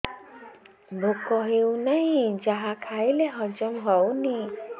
ଭୋକ ହେଉନାହିଁ ଯାହା ଖାଇଲେ ହଜମ ହଉନି